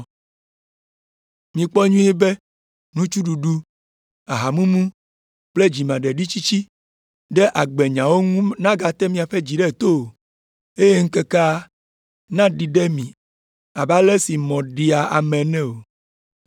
“Mikpɔ nyuie be nutsuɖuɖu, ahamumu kple dzimaɖitsitsi ɖe agbemenyawo ŋu nagate miaƒe dzi ɖe to o, eye ŋkekea naɖi ɖe mi abe ale si mɔ ɖea ame ene o.